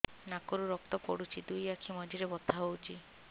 ନାକରୁ ରକ୍ତ ପଡୁଛି ଦୁଇ ଆଖି ମଝିରେ ବଥା ହଉଚି